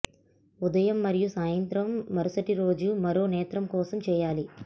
ఉదయం మరియు సాయంత్రం మరుసటి రోజు మరో నేత్రం కోసం చేయాలి